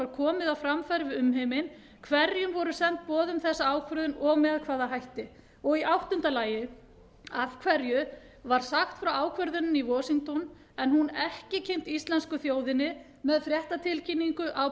komið á framfæri við umheiminn hverjum voru send boð um þessa ákvörðun og með hvaða hætti h af hverju sagt var frá ákvörðuninni í washington en hún ekki kynnt íslensku þjóðinni með fréttatilkynningu á